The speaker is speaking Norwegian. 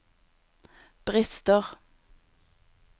brister